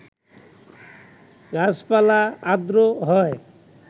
গাছাপালা আর্দ্র হয়